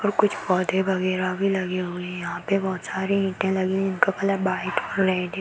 और कुछ पौधे वगैरह भी लगे हुए हैं। यहाँ पे बहोत सारी ईंटें लगी हुई है। जिनका कलर व्हाइट और रेड है।